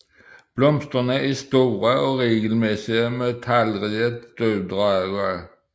Blomsterne er store og regelmæssige med talrige støvdragere